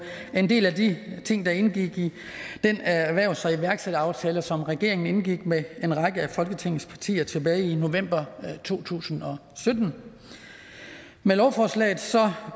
en del af de ting der indgik i den erhvervs og iværksætteraftale som regeringen indgik med en række af folketingets partier tilbage i november to tusind og sytten med lovforslaget